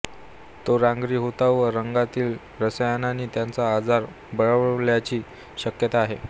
तो रंगारी होता व रंगातील रसायनांनी त्याचा आजार बळावल्याची शक्यता आहे